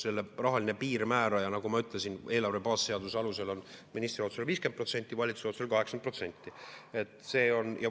Selle rahaline piirmääraja, nagu ma ütlesin, on eelarve baasseaduse alusel ministri otsusel 50% ja valitsuse otsusel 80%.